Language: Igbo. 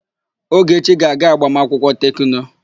Ogechi ga-aga agbamakwụkwọ Tekno.